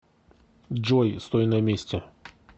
джой стой на месте